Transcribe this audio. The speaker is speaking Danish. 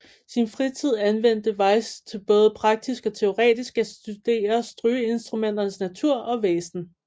Sin fritid anvendte Weis til både praktisk og teoretisk at studere strygeinstrumenternes natur og væsen